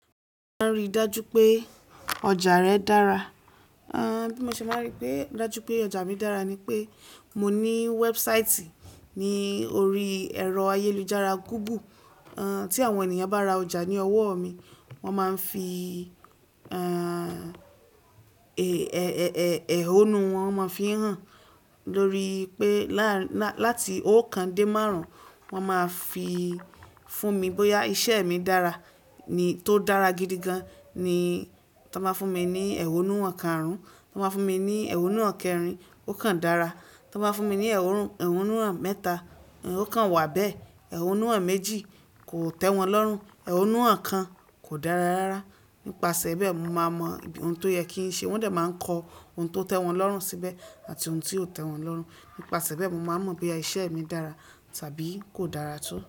Bí mo ṣe máa rí dájú pé ọjà mi dára ni pé mo ní website ní orí ẹ̀rọ ayélujára Google. Ti àwọn ènìyàn bá ra ọjà ní owó mi, wọ́n máa ń fi ehhh ẹ̀hónú wọn o ma fi n hàn. Lórí pé láti oókan dé márùn, wọ́n máa fi fún mi bóyá iṣẹ́ mi dára. Tó dára gidi gan ni wọ́n máa fún mi ní ẹ̀hónú ọ̀kan-árún, tó dára ni wọ́n máa fún mi ní ẹ̀hónú ọ̀kan-rin, ó kan dára tó máa fún mi ní ẹ̀hónú mẹ́ta. Ó kan wà bẹ́ẹ̀, ẹ̀hónú méjì kò tẹ́ wọn lọ́rùn, ẹ̀hónú kan kò dára rárá. Nípasẹ̀ bẹ́ẹ̀ mó máa mọ ohun tó yẹ kí n ṣe. Wọ́n de máa ń kọ ohun tó tẹ́ wọn lọ́rùn síbẹ̀ àti ohun tí kò tẹ́ wọn lọ́rùn. Nípasẹ̀ bẹ́ẹ̀ mó máa mọ bí iṣẹ́ mi dára tàbí kò dára tó.